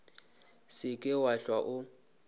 se ke wa hlwa o